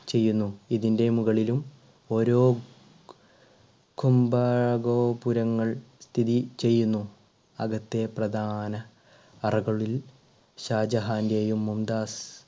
ചെയ്യുന്നു ഇതിൻറെ മുകളിലും ഓരോ കുംഭഗോപുരങ്ങൾ സ്ഥിതി ചെയ്യുന്നു. അകത്തെ പ്രധാന അറകളിൽ ഷാജഹാന്റെയും മുംതാസി